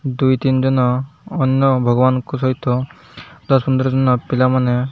ଦୁଇ ତିନି ଦିନ ଅନ୍ୟ ଭଗବାନଙ୍କ ସହିତ ସଫା ସୁତୁରା କିନା ପିଲା ମାନେ --